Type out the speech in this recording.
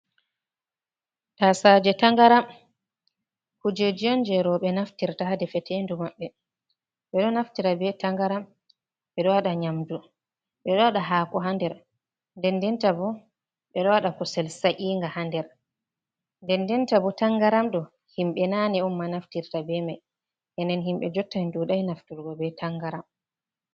Tasaje tangaram, kujeji on je robe naftirta ha defetendu mabbe. Be do naftirta be tangaram be do wada nyamdu be do wada hako ha nder den denta bo ɓe do wada kusel sa’inga ha nder nden denta bo tangaram do himbe nane on ma naftirta be mai enen himbe jottan dudai nafturgo be tangaram.